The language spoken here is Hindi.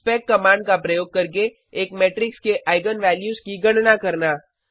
स्पेक कमांड का प्रयोग करके एक मेट्रिक्स के आईगन वैल्यूज की गणना करना